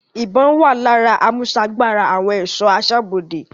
Ìbọn-ọ́n wà lára àmúsagbára àwọn ẹ̀ṣọ́ aṣọ́bodè.